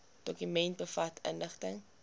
dokument bevat inligting